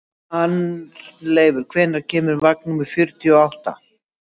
Arnleifur, hvenær kemur vagn númer fjörutíu og átta?